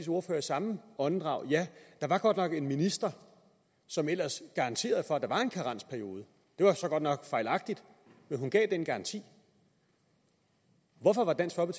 ordfører i samme åndedrag ja der var godt nok en minister som ellers garanterede for at der var en karensperiode det var så godt nok fejlagtigt men hun gav den garanti hvorfor var dansk